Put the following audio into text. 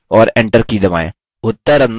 और enter की दबाएँ